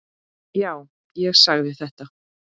Já, ég sagði þetta.